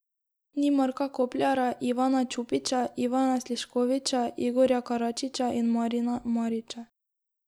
Ni Marka Kopljara, Ivana Čupića, Ivana Sliškovića, Igorja Karačića in Marina Marića ...